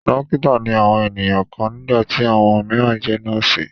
Dọ́kítá ni àwọn ènìyàn kan nígbà tí àwọn mìíràn jẹ nọ́ọ́sì.